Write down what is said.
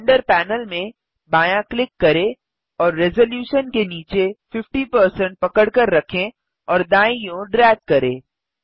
render panel में बायाँ click करें और रेज़लूशन के नीचे 50 पकडकर रखें और दाईँ ओर ड्रैग करें